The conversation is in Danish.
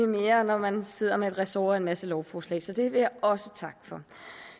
mere når man sidder med et ressort masse lovforslag så det vil jeg også takke for